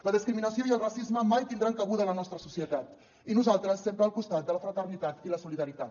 la discriminació i el racisme mai tindran cabuda a la nostra societat i nosaltres sempre al costat de la fraternitat i la solidaritat